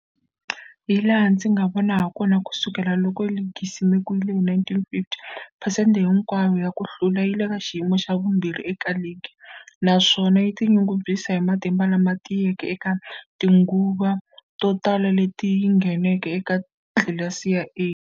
Hilaha ndzi nga vona hakona, ku sukela loko ligi yi simekiwile, 1950, phesente hinkwayo ya ku hlula yi le ka xiyimo xa vumbirhi eka ligi, naswona yi tinyungubyisa hi matimba lama tiyeke eka tinguva to tala leti yi ngheneke eka tlilasi ya A.